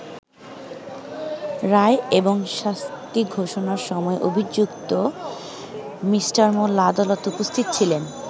রায় এবং শাস্তি ঘোষণার সময় অভিযুক্ত মিঃ মোল্লা আদালতে উপস্থিত ছিলেন।